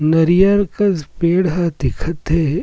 नरियर कस पेड़ ह दिखत हे ।